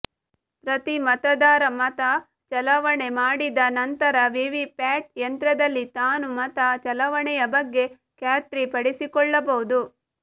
ಪ್ರತಿ ಮತದಾರ ಮತ ಚಲಾವಣೆ ಮಾಡಿದ ನಂತರ ವಿವಿ ಪ್ಯಾಟ್ ಯಂತ್ರದಲ್ಲಿ ತಾನು ಮತ ಚಲಾವಣೆಯ ಬಗ್ಗೆ ಖಾತ್ರಿ ಪಡಿಸಿಕೊಳ್ಳಬಹುದು